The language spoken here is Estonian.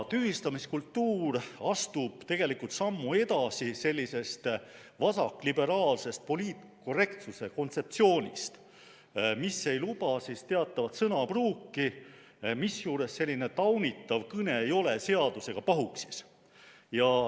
Tühistamiskultuur astub tegelikult sammu edasi sellisest vasakliberaalsest poliitkorrektsuse kontseptsioonist, mis ei luba teatavat sõnapruuki, misjuures selline taunitav kõne ei ole seadusega pahuksis.